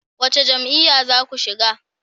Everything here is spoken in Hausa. Wace jam'iyya za ku shiga?